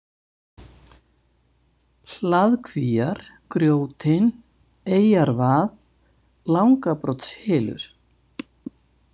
Hlaðkvíar, Grjótin, Eyjarvað, Langabrotshylur